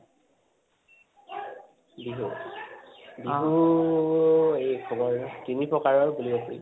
বিহু বিহু উ এই তোমাৰ তিনি প্ৰকাৰৰ বুলি আছিল